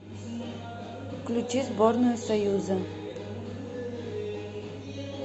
включи сборную союза